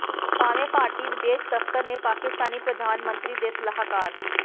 ਭਾਵੇਂ ਭਾਰਤੀ ਵਿਦੇਸ਼ ਦਫ਼ਤਰ ਨੇ ਪਾਕਿਸਤਾਨੀ ਪ੍ਰਧਾਨ ਮੰਤਰੀ ਦੇ ਸਲਾਹਕਾਰ